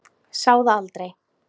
Sá það aldrei